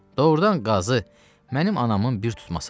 Doğrudan qazı, mənim anamın bir tutması var.